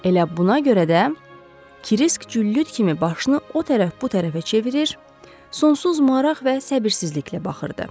Elə buna görə də, Kresk güllüt kimi başını o tərəf bu tərəfə çevirir, sonsuz maraq və səbirsizliklə baxırdı.